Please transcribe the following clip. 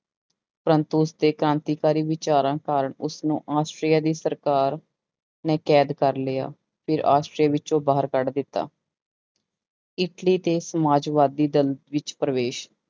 ਪ੍ਰੰਤੂ ਉਸਦੇ ਕ੍ਰਾਂਤੀਕਾਰੀ ਵਿਚਾਰਾਂ ਕਾਰਨ ਉਸਨੂੰ ਆਸਟਰੀਆ ਦੀ ਸਰਕਾਰ ਨੇ ਕੈਦ ਕਰ ਲਿਆ, ਫਿਰ ਆਸਟਰੀਆ ਵਿੱਚੋਂ ਬਾਹਰ ਕੱਢ ਦਿੱਤਾ ਇਟਲੀ ਦੇ ਸਮਾਜਵਾਦੀ ਦਲ ਵਿੱਚ ਪ੍ਰਵੇਸ਼